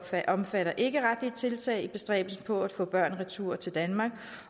omfatter ikkeretlige tiltag i bestræbelserne på at få børn retur til danmark